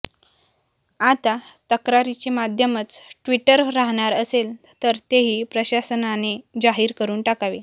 आता तक्रारींचे माध्यमच ट्विटर राहणार असेल तर तेही प्रशासनाने जाहीर करून टाकावे